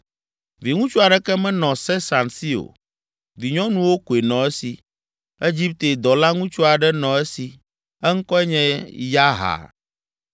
Viŋutsu aɖeke menɔ Sesan si o; vinyɔnuwo koe nɔ esi. Egipte dɔlaŋutsu aɖe nɔ esi; eŋkɔe nye Yarha.